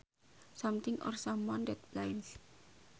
Something or someone that blinds